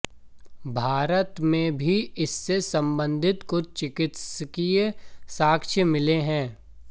भारत में भी इससे संबंधित कुछ चिकित्सकीय साक्ष्य मिले हैं